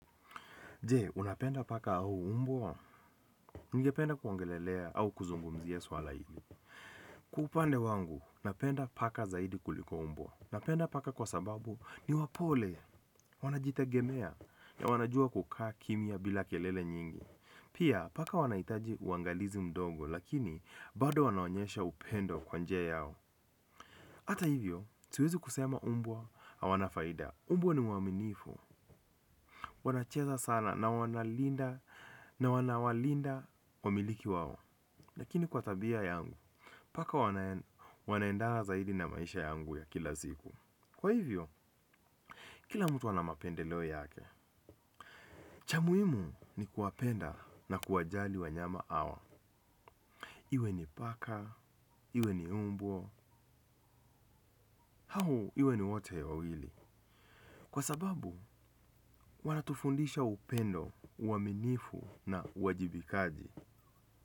Je, unapenda paka au umbwa, ningependa kuangelelea au kuzungumzia swala hili. Kwa upande wangu, napenda paka zaidi kuliko umbwa. Napenda paka kwa sababu ni wapole, wanajitegemea, na wanajua kukaa kimya bila kelele nyingi. Pia, paka wanahitaji uangalizi mdogo, lakini bado wanaonyesha upendo kwa njia yao. Hata hivyo, siwezi kusema umbwa, hawana faida. Umbwa ni waaminifu. Wanacheza sana na wanalinda na wanawalinda wamiliki wao. Lakini kwa tabia yangu, paka wanaendana zaidi na maisha yangu ya kila siku. Kwa hivyo, kila mtu ana mapendeleo yake. Chamuimu ni kuwapenda na kuwajali wanyama hawa. Iwe ni paka, iwe ni mbwa, au iwe ni wote wawawili. Kwa sababu, wanatufundisha upendo, uaminifu na uwajibikaji.